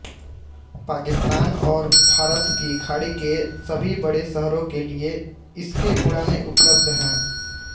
पाकिस्तान और फ़ारस की खाड़ी के सभी बड़े शहरों के लिए इसके उड़ाने उपलब्ध हैं